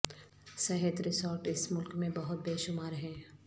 صحت ریسورٹ اس ملک میں بہت بے شمار ہیں